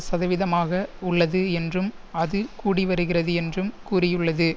சதவீதமாக உள்ளது என்றும் அது கூடிவருகிறது என்றும் கூறியுள்ளது